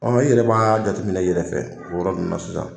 i yɛrɛ b'a jateminɛ i yɛrɛ fɛ o yɔrɔ nunnu na sisan.